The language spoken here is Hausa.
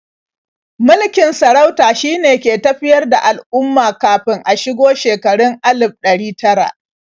Mulkin sarauta shine ke tafiyar da al'umma kafin a shigo shekarun alif ɗari tara.